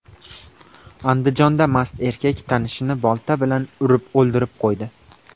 Andijonda mast erkak tanishini bolta bilan urib o‘ldirib qo‘ydi.